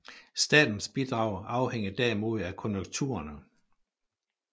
Statens bidrag afhænger derimod af konjunkturerne